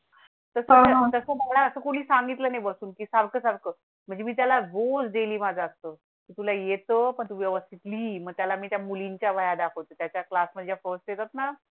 तसं मला असं कुणी सांगितलं नाही बसून ती सारखं सारखं म्हणजे मी त्याला भूल दिली माझा असतो तूला येतो पण तु व्यवस्थित लीही मग त्याला मी त्या मुलींच्या दाखवतो. त्याच्या क्लास मधे फर्स्ट येतात ना